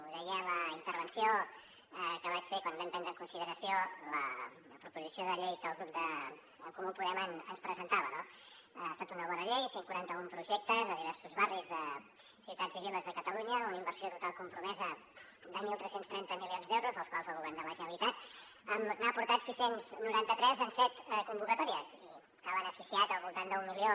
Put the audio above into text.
ho deia a la intervenció que vaig fer quan vam prendre en consideració la proposició de llei que el grup d’en comú podem ens presentava no ha estat una bona llei cent i quaranta un projectes a diversos barris de ciutats i viles de catalunya una inversió total compromesa de tretze trenta milions d’euros dels quals el govern de la generalitat n’ha aportat sis cents i noranta tres en set convocatòries i que ha beneficiat al voltant d’un milió